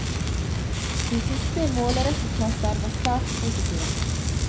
De siste måleresultater var svært positive.